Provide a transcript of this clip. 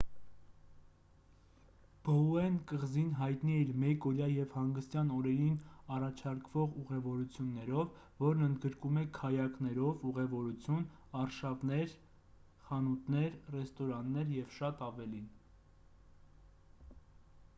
բոուեն կղզին հայտնի է իր մեկօրյա և հանգստյան օրերին առաջարկվող ուղևորություններով որն ընդգրկում է քայակներով ուղևորություն արշավներ խանութներ ռեստորաններ և շատ ավելին